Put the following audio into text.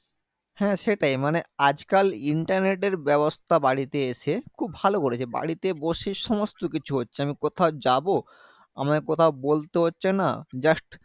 হ্যাঁ সেটাই মানে আজকাল internet এর ব্যবস্থা বাড়িতে এসে খুব ভালো করেছে। বাড়িতে বসে সমস্ত কিছু হচ্ছে। আমি কোথাও যাবো, আমাকে কোথাও বলতে হচ্ছে না, just